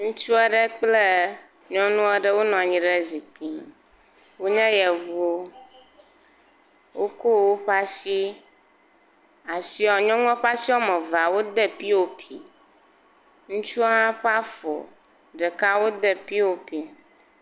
Ŋutsu aɖe kple nyɔnu aɖe wonɔ anyi zikpui me. Wonye yevuwo. Woko woƒe asi, asia, nyɔnua ƒe asi woame evea, wode pop, ŋutsua hã ƒe afɔ ɖekaa, wode pop.